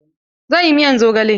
Zan yi miyar zogale.